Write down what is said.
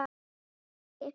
HERSKIP ÞRJÚ